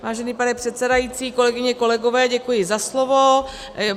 Vážený pane předsedající, kolegyně, kolegové, děkuji za slovo.